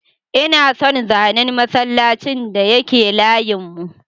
Ina son zanen masallacin da yake layin mu.